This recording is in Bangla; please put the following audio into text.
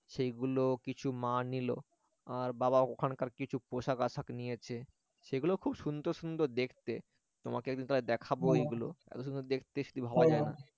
সেইগুলো কিছু মা নিল আর বাবা ওখানকার কিছু পোশাক আশাক নিয়েছে সেগুলো খুব সুন্দর সুন্দর দেখতে তোমাকে একদিন তাহলে দেখাবো এগুলো এত সুন্দর দেখতে ভাবা যায় না